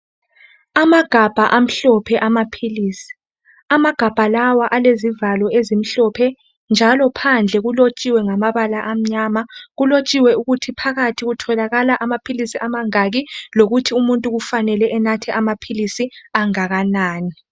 Amagabha amhlophe amaphilisi. Amagabha lawa alezivalo ezimhlophe njalo phandle kulotshiwe ngamabala amnyama .Kulotshiwe ukuthi phakathi kutholakala amaphilisi amangaki lokuthi umuntu kufanele enathe amaphilisi angakanani.